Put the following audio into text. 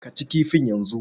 Ka ci kifin yanzu!